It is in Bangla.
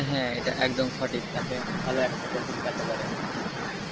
হ্যাঁ এটা একদম সঠিক আপনি ভালো একটা profit পাইতে পারেন এইখান থেকে